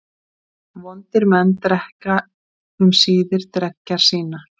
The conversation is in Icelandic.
Vondir menn drekka um síðir dreggjar sínar.